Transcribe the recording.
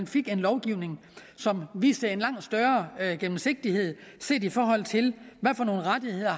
fik en lovgivning som viste en langt større gennemsigtighed set i forhold til hvad for nogle rettigheder